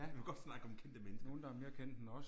Vi må godt snakke om kendte mennesker